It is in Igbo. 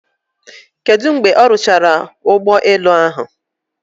Kedu mgbe ọ rụchara ụgbọ elu ahụ?